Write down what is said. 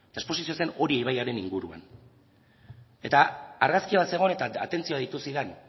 eta esposizioa zen oria ibaiaren inguruan eta argazki bat zegoen eta atentzio deitu zidan